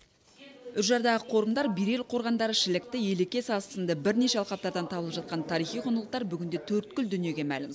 үржардағы қорымдар берел қорғандары шілікті елеке сазы сынды бірнеше алқаптардан табылып жатқан тарихи құндылықтар бүгінде төрткүл дүниеге мәлім